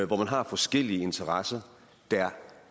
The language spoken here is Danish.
hvor man har forskellige interesser der